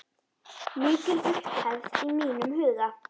Mikil upphefð í mínum huga.